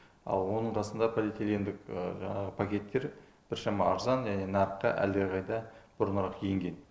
ал оның қасында полиэтилендік жаңағы пакеттер біршама арзан және нарыққа әлдеқайда бұрынырақ енген